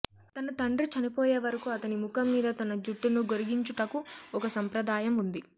తన తండ్రి చనిపోయేవరకు అతని ముఖం మీద తన జుట్టును గొరిగించుటకు ఒక సంప్రదాయం ఉంది